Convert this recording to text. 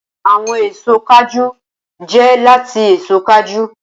Awọn eso kajú jẹ lati eso kajú.